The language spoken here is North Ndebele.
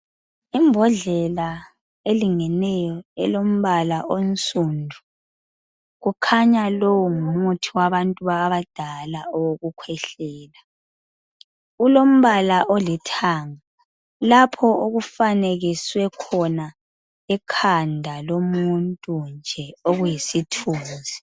Imbodlela elingeneyo elombala onsundu kukhanya lowu ngumuthi wabantu abadala owokukhwehlela kulombala olithanga lapho okufanekiswe khona ikhanda lomuntu nje okuyisithunzi.